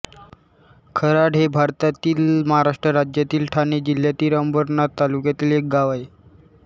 खराड हे भारतातील महाराष्ट्र राज्यातील ठाणे जिल्ह्यातील अंबरनाथ तालुक्यातील एक गाव आहे